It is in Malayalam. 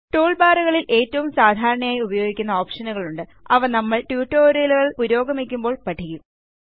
ടൂൾബാറുകളിൽ ഏറ്റവും സാധാരണയായി ഉപയോഗിക്കുന്ന ഓപ്ഷനുകളുണ്ട് അവ നമ്മൾ ട്യൂട്ടോറിയലുകൾ പുരോഗമിക്കുമ്പോൾ പഠിക്കും